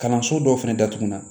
Kalanso dɔw fɛnɛ datugulan